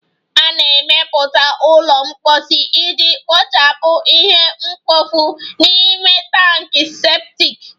A na-emepụta ụlọ mposi iji kpochapụ ihe mkpofu n'ime tankị septic